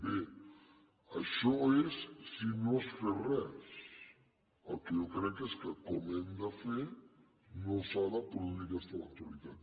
bé això és si no es fes res el que jo crec és que com que ho hem de fer no s’ha de produir aquesta eventualitat